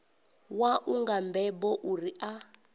wau nga mbebo uri a